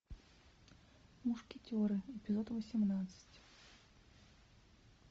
мушкетеры эпизод восемнадцать